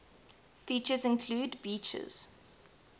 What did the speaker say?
features include beaches